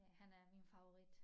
Det han er min favorit